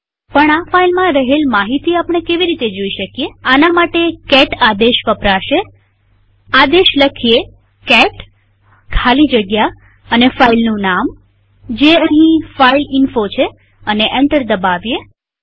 પણ આ ફાઈલમાં રહેલ માહિતી આપણે કેવી રીતે જોઈ શકીએઆના માટે કેટ આદેશ વપરાશેઆદેશ લખીએ કેટ ખાલી જગ્યા અને ફાઈલનું નામજે અહીં ફાઇલઇન્ફો છે અને એન્ટર દબાવીએ